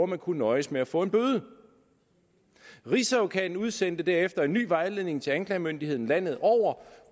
man kunne nøjes med at få en bøde rigsadvokaten udsendte derefter en ny vejledning til anklagemyndigheden landet over om